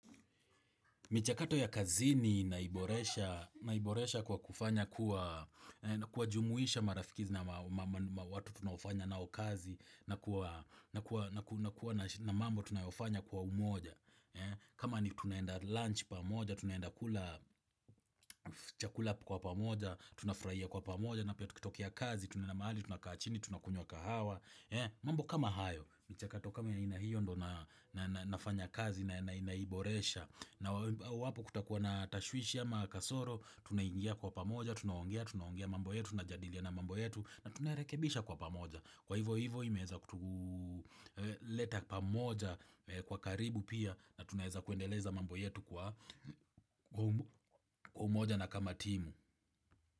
Michakato ya kazini naiboresha kwa kufanya kwa jumuisha marafiki na watu tunaofanya nao kazi na kwa umoja. Kama ni tunaenda lunch pamoja, tunaenda kula chakula kwa pamoja, tunafurahia kwa pamoja, na iwapo kutakuwa na tashwishiahi ama kasoro, tunaingia kwa pamoja, tunaongea, tunaongea mambo yetu, tunajadiliana mambo yetu, na tunarekebisha kwa pamoja. Kwa ivo ivo imeza kutuleta pamoja kwa karibu pia, na tunaeza kuendeleza mambo yetu kwa umoja na kama timu.